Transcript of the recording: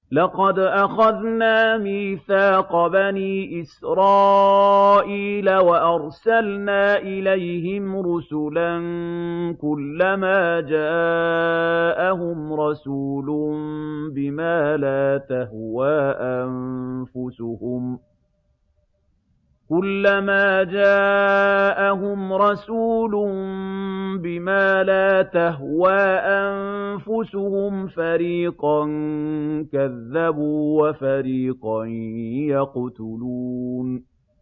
لَقَدْ أَخَذْنَا مِيثَاقَ بَنِي إِسْرَائِيلَ وَأَرْسَلْنَا إِلَيْهِمْ رُسُلًا ۖ كُلَّمَا جَاءَهُمْ رَسُولٌ بِمَا لَا تَهْوَىٰ أَنفُسُهُمْ فَرِيقًا كَذَّبُوا وَفَرِيقًا يَقْتُلُونَ